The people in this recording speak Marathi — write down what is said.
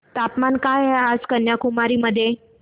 तापमान काय आहे कन्याकुमारी मध्ये